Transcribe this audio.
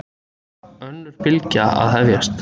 Önnur bylgja að hefjast